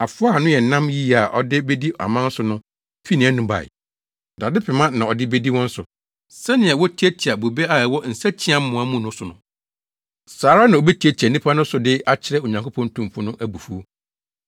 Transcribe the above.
Afoa a ano yɛ nnam yiye a ɔde bedi aman so no fii nʼanom bae. Dade pema na ɔde bedi wɔn so. Sɛnea wotiatia bobe a ɛwɔ nsakyiamoa mu no so no, saa ara na obetiatia nnipa no so de akyerɛ Onyankopɔn Tumfo no abufuw.